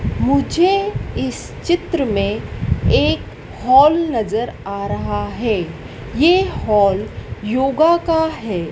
मुझे इस चित्र में एक हॉल नजर आ रहा है ये हॉल योगा का है।